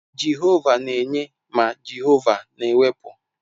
Jehova na-enye ma Jehova na-ewepụ.